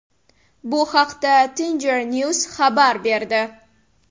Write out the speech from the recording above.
Bu haqda Tengrinews xabar berdi .